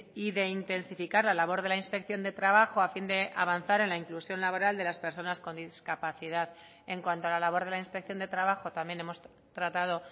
y de intensificar la labor de la inspección de trabajo a fin de avanzar en la inclusión laboral de las personas con discapacidad en cuanto a la labor de la inspección de trabajo también hemos tratado